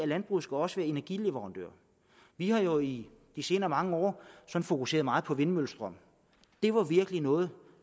landbruget også være energileverandør vi har jo i de senere mange år fokuseret meget på vindmøllestrøm det var virkelig noget